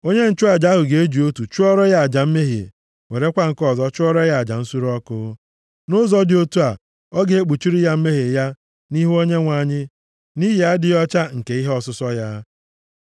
Onye nchụaja ahụ ga-eji otu chụọrọ ya aja mmehie, werekwa nke ọzọ chụọrọ ya aja nsure ọkụ. Nʼụzọ dị otu a, ọ ga-ekpuchiri ya mmehie ya nʼihu Onyenwe anyị, nʼihi adịghị ọcha nke ihe ọsụsọ ya.